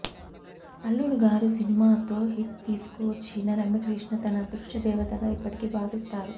అల్లుడుగారుసినిమాతో hit తీసుకొచ్చిన రమ్యకృష్ణ తన అదృష్ట దేవతగా ఇప్పటికీ భావిస్తారు